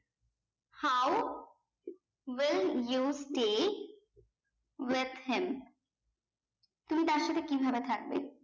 how well you stay with him তুমি তার সাথে কি ভাবে থাকবে